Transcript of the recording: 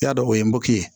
Y'a dɔn o ye mɔki